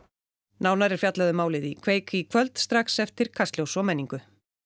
nánar er fjallað um málið í kveik í kvöld strax eftir Kastljós og menningu